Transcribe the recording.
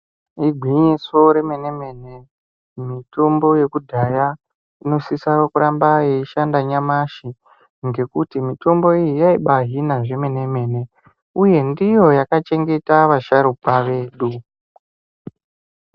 Igwinyiso remene-mene, mitombo yekudhaya inosisa kuramba yeishanda nyamashi ngekuti mitombo iyi yaibaahina zvemene-mene uye ndiyo yakachengeta vasharukwa vedu.